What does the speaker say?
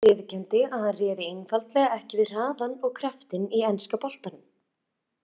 Leikmaðurinn viðurkenndi að hann réði einfaldlega ekki við hraðann og kraftinn í enska boltanum.